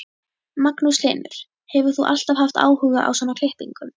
Magnús Hlynur: Hefur þú alltaf haft áhuga á svona klippingum?